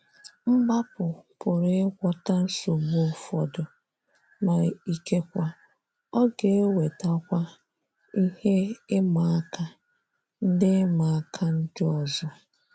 Mgbapụ pụrụ ịgwota nsogbu ụfọdụ, ma ịkekwa, ọ ga -wetakwa ihe ịmá áká ndị ịmá áká ndị ọzọ.